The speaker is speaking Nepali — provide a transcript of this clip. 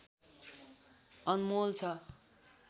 अनमोल छ